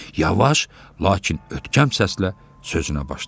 Yavaş, lakin ötkəm səslə sözünə başladı.